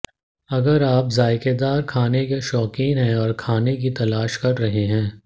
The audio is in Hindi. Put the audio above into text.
अगर आप जायकेदार खाने के शौकीन हैं और खाने की तलाश कर रहे हैं